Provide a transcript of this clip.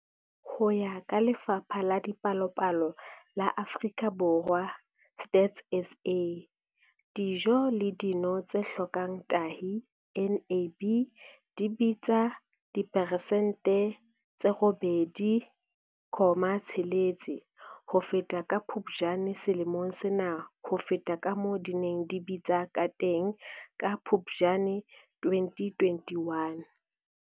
Ho ya ka Lefapha la Dipalopalo la Afrika Borwa, Stats SA, dijo le dino tse hlokang tahi, NAB, di bitsa diperesente tse 8.6 ho feta ka Phuptjane selemong sena ho feta kamoo di neng di bitsa kateng ka Phuptjane 2021.